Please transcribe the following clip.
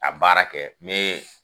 A baara kɛ, n mɛ